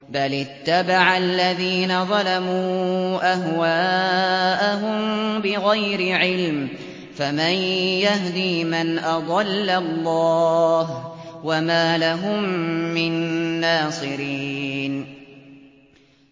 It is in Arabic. بَلِ اتَّبَعَ الَّذِينَ ظَلَمُوا أَهْوَاءَهُم بِغَيْرِ عِلْمٍ ۖ فَمَن يَهْدِي مَنْ أَضَلَّ اللَّهُ ۖ وَمَا لَهُم مِّن نَّاصِرِينَ